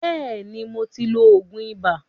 Bẹ́ẹ̀ni, mo ti ń lo òògùn ibà.